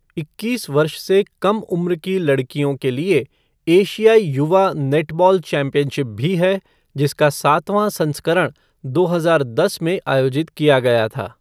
इक्कीस वर्ष से कम उम्र की लड़कियों के लिए एशियाई युवा नेटबॉल चैम्पियनशिप भी है, जिसका सातवां संस्करण दो हजार दस में आयोजित किया गया था।